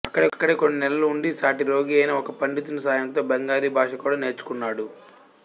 అక్కడే కొన్ని నెలలు ఉండి సాటి రోగి అయిన ఒక పండితుని సాయంతో బెంగాలీ భాష కూడా నేర్చుకొన్నాడు